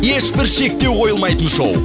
ешбір шектеу қойылмайтын шоу